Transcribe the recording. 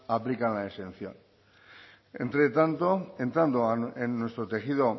aplican la exención entre tanto entrando en nuestro tejido